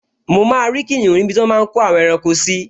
Mo máa rí kìnìún níbi tí wọ́n máa n kó àwọn ẹranko sí